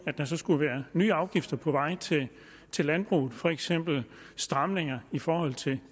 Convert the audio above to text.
der skulle være nye afgifter på vej til til landbruget for eksempel stramninger i forhold til